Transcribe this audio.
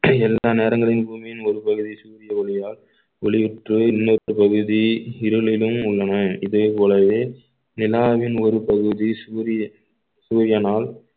எல்லா நேரங்களிலும் பூமியின் ஒரு பகுதி சூரிய ஒளியால் ஒளியுற்று இன்னொரு பகுதி இருளிலும் உள்ளன இதே போலவே நிலாவின் ஒரு பகுதி சூரியன் சூரியனால்